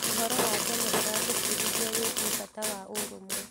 ũhoro wa tene ũratũbundithia wĩgiĩ bata wa ũrũmwe.